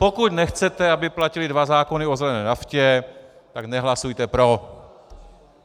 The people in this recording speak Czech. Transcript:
Pokud nechcete, aby platily dva zákony o zelené naftě, tak nehlasujte pro.